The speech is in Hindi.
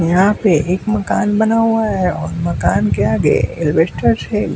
यहां पे एक मकान बना हुआ है और मकान के आगे एलबेस्टर्स हैं।